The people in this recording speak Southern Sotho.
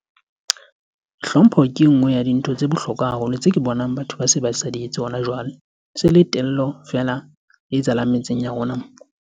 Hlompho ke e nngwe ya dintho tse bohlokwa haholo tse ke bonang batho ba se ba sa di etse hona jwale. E se le tello feela e etsahalang metseng ya rona mona.